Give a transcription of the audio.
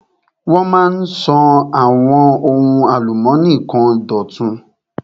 Wọ́n máa ń sọ àwọn ohun álùmónì kan dọ̀tun.